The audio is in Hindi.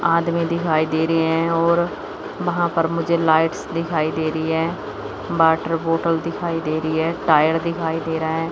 आदमी दिखाई दे रहें हैं और वहाॅं पर मुझे लाईट्स दिखाई दे रहीं हैं बाटर बोटल दिखाई दे रहीं हैं टायर दिखाई दे रहा हैं।